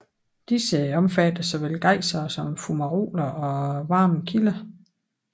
Disse omfatter såvel gejsere som fumaroler og varme kilder